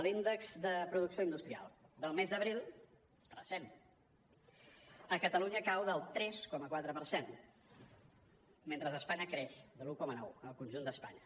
l’índex de producció industrial del mes d’abril recent a catalunya cau el tres coma quatre per cent mentre a espanya creix del un coma nou en el conjunt d’espanya